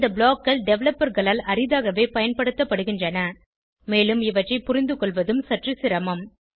இந்த blockகள் developerகளால் அரிதாகவே பயன்படுத்தப்படுகின்றன மேலும் இவற்றை புரிந்துகொள்வதும் சற்று சிரமம்